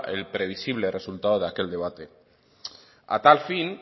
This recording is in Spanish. el previsible resultado de aquel debate a tal fin